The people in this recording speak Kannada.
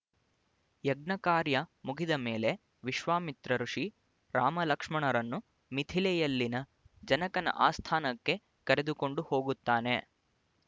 ಯಜ್ಞಕಾರ್ಯ ಮುಗಿದ ಮೇಲೆ ವಿಶ್ವಾಮಿತ್ರ ಋಷಿ ರಾಮಲಕ್ಷ್ಮಣರನ್ನು ಮಿಥಿಲೆಯಲ್ಲಿನ ಜನಕನ ಆಸ್ಥಾನಕ್ಕೆ ಕರೆದುಕೊಂಡು ಹೋಗುತ್ತಾನೆ